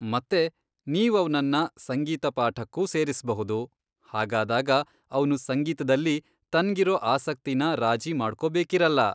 ಮತ್ತೆ ನೀವ್ ಅವ್ನನ್ನ ಸಂಗೀತ ಪಾಠಕ್ಕೂ ಸೇರಿಸ್ಬಹುದು, ಹಾಗಾದಾಗ ಅವ್ನು ಸಂಗೀತ್ದಲ್ಲಿ ತನ್ಗಿರೋ ಆಸಕ್ತಿನ ರಾಜಿ ಮಾಡ್ಕೊಬೇಕಿರಲ್ಲ.